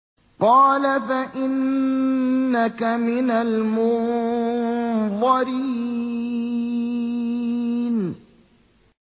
قَالَ فَإِنَّكَ مِنَ الْمُنظَرِينَ